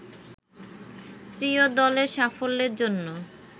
প্রিয় দলের সাফল্যের জন্য